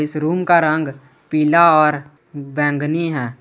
इस रूम का रंग पीला और बैंगनी है।